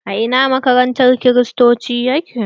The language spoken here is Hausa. A ina maƙabartan kiristoci yake?